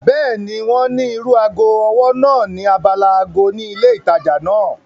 Bẹ́ẹ̀ni, wọ́n ní irú ago ọwọ́ náà ní abala ago ni ilé ìtajà náà